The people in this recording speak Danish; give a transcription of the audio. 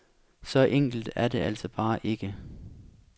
Så enkelt er det altså bare ikke.